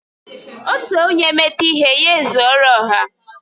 Otu onye meta ihe, ya ezuọro ọha